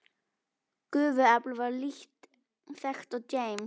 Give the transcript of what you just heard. Gufuafl var lítt þekkt og James